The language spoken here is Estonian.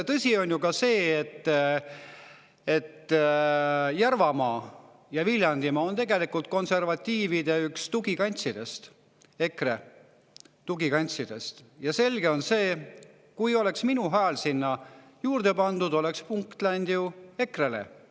Tõsi on ju see, et Järvamaa ja Viljandimaa on tegelikult konservatiivide tugikantsid, EKRE tugikantsid, ja selge on see, et kui minu hääl oleks sinna juurde pandud, oleks punkt läinud ju EKRE-le.